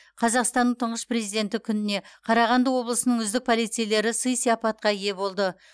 қазақстанның тұңғыш президенті күніне қарағанды облысының үздік полицейлері сый сияпатқа ие болды